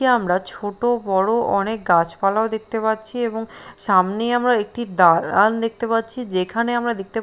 আমরা ছোট বড়ো অনেক গাছ পালাও দেখতে পাচ্ছি এবং সামনে আমরা একটি দালান দেখতে পাচ্ছি যেখানে আমরা দেখতে --